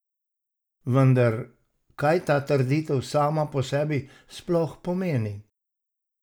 Vendar, kaj ta trditev sama po sebi sploh pomeni?